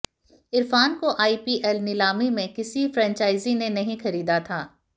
इरफान को आईपीएल नीलामी में किसी फ्रेंचाइजी ने नहीं खरीदा था